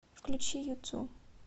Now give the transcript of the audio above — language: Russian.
включи юту